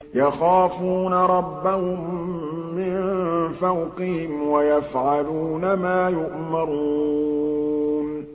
يَخَافُونَ رَبَّهُم مِّن فَوْقِهِمْ وَيَفْعَلُونَ مَا يُؤْمَرُونَ ۩